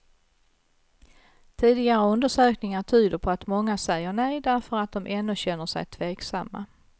Tidigare undersökningar tyder på att många säger nej därför att de ännu känner sig tveksamma.